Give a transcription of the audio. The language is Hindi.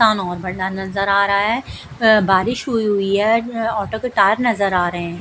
और बढ़ा नजर आ रहा है बारिश हुई हुई है ऑटो के टायर नजर आ रहे हैं।